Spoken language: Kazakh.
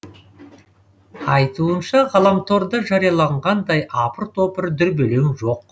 айтуынша ғаламторда жарияланғандай апыр топыр дүрбелең жоқ